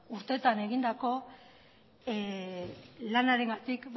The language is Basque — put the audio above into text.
urteetan egindako lanarengatik